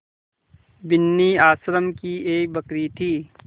बिन्नी आश्रम की एक बकरी थी